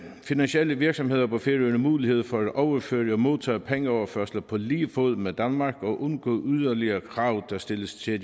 finansielle virksomheder på færøerne mulighed for at overføre og modtage pengeoverførsler på lige fod med danmark og undgå yderligere krav der stilles til